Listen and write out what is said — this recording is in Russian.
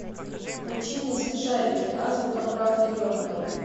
включи мне смешарики азбука прав ребенка